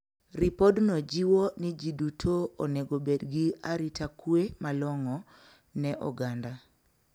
Ripodno jiwo ni ji duto onego obed gi arita kwe malong`o ne oganda.